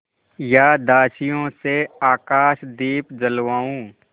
या दासियों से आकाशदीप जलवाऊँ